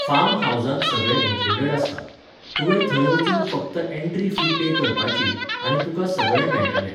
Farm हावजांत सगळें included आसता. तुवें थंय वचून फक्त एंट्री फी पे करपाची, आनी तुका सगळें मेळटलें